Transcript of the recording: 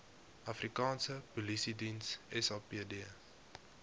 afrikaanse polisiediens sapd